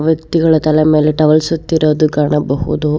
ವ್ಯಕ್ತಿಗಳು ತಲೆ ಮೇಲೆ ಟವಲ್ ಸುತ್ತಿರುವುದನ್ನು ಕಾಣಬಹುದು.